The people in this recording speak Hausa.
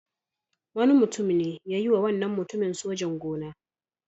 Wani mutum ne ya yiwa wannan mutumin sojan-gona.